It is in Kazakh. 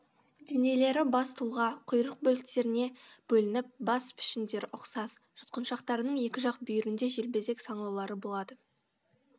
денелері бас тұлға құйрық бөліктеріне бөлініп бас пішіндері ұқсас жұтқыншақтарының екі жақ бүйірінде желбезек саңылаулары болады